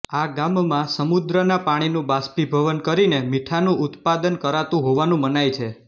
આ ગામમાં સમુદ્રના પાણીનું બાષ્પીભવન કરીને મીઠાનું ઉત્પાદન કરાતું હોવાનું મનાય છે